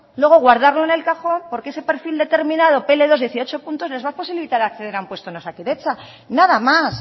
luego guardarlo en el cajón porque ese perfil determinado pe ele dos dieciocho puntos les va a posibilitar acceder a un puesto en osakidetza nada más